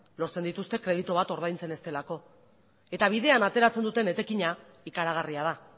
lortzen dituzte kreditu bat ordaintzen ez delako eta bidean ateratzen duten etekina ikaragarria da